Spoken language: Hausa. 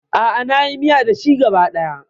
A'a, na yi miya da shi gaba ɗaya.